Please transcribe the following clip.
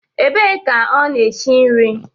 Ebe ka ọ na-eshi nri?